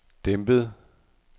dæmpet